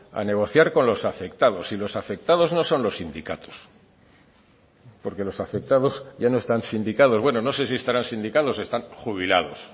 a negociar con los afectados y los afectados no son los sindicatos porque los afectados ya no están sindicados bueno no sé si estarán sindicados están jubilados